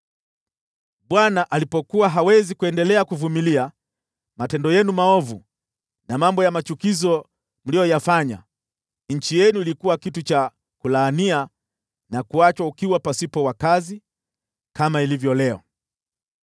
Bwana alipokuwa hawezi kuendelea kuvumilia matendo yenu maovu na mambo ya machukizo mliyoyafanya, nchi yenu ilikuwa kitu cha kulaania na kuachwa ukiwa pasipo wakazi, kama ilivyo leo.